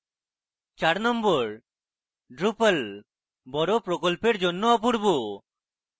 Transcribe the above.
number 4: drupal বড় প্রকল্পের জন্য অপূর্ব